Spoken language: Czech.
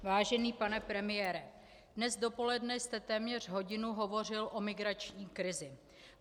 Vážený pane premiére, dnes dopoledne jste téměř hodinu hovořil o migrační krizi.